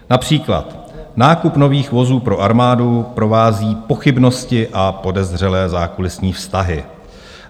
Například: "Nákup nových vozů pro armádu provází pochybnosti a podezřelé zákulisní vztahy."